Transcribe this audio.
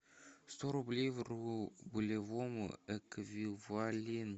сто рублей в рублевом эквиваленте